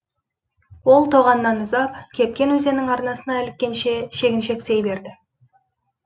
ол тоғаннан ұзап кепкен өзеннің арнасына іліккенше шегіншектей берді